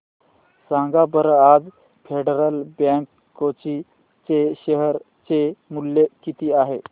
सांगा बरं आज फेडरल बँक कोची चे शेअर चे मूल्य किती आहे